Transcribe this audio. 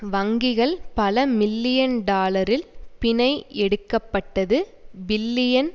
வங்கிகள் பல மில்லியன் டாலரில் பிணை எடுக்க பட்டது பில்லியன்